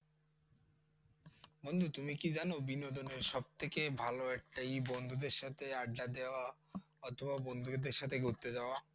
বন্ধু তুমি কি জানো বিনোদনের সবথেকে ভালো একটা ইয়ে বন্ধুদের সাথে আড্ডা দেওয়া অথবা বন্ধুদের সাথে ঘুরতে যাওয়া।